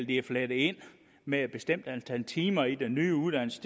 det er flettet ind med et bestemt antal timer i den nye uddannelse